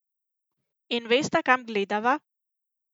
In vesta, kam gledava?